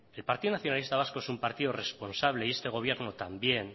el partido nacionalista vasco es un partido responsable y este gobierno también